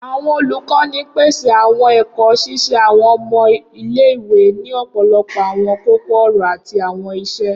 Awọn olukọni n pese awọn ẹkọ, ṣiṣe awọn ọmọ ile-iwe ni ọpọlọpọ awọn koko-ọrọ ati awọn iṣe.